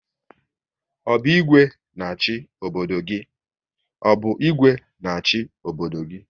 Ọ bụ Igwe na achị obodo gị?